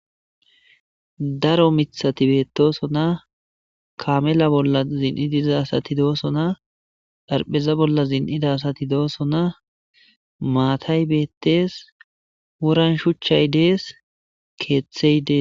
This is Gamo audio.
Daro miththati bettosoona kaame booal zin7idi diza assati de7osona xarpheza boola zin7ida assati de7ossona maatay bettes woran shuchay dees kethey dees.